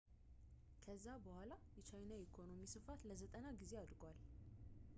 ከዛ በኋላ የቻይና የኢኮኖሚ ስፋት ለ90 ጊዜ አድጓል